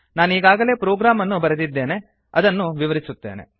ನಾನೀಗಾಗಲೇ program ಅನ್ನು ಬರೆದಿದ್ದೇನೆ ಅದನ್ನು ವಿವರಿಸುತ್ತೇನೆ